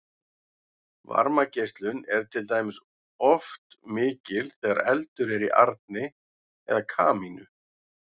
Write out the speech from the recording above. varmageislun er til dæmis oft mikil þegar eldur er í arni eða kamínu